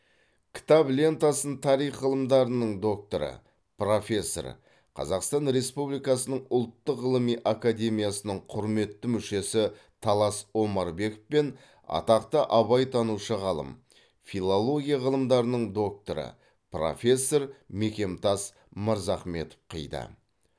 кітап лентасын тарих ғылымдарының докторы профессор қазақстан республикасының ұлттық ғылыми академиясының құрметті мүшесі талас омарбеков пен атақты абайтанушы ғалым филология ғылымдарының докторы профессор мекемтас мырзахметов қиды